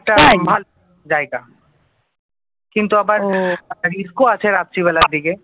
কিন্তু আবার হম রিস্ক ও আছে রাত্রিবেলার দিকে